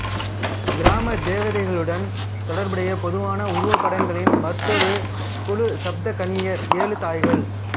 கிராமதேவதைகளுடன் தொடர்புடைய பொதுவான உருவப்படங்களின் மற்றொரு குழு சப்தகன்னியர் ஏழு தாய்கள்